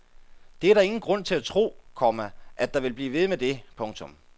Det er der ingen grund til at tro, komma at det vil blive ved med det. punktum